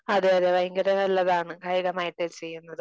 അതെ അതെ ഭയങ്കര നല്ലതാണ് കായികമായിട്ട് ചെയ്യുന്നത്.